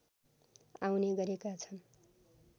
आउने गरेका छन्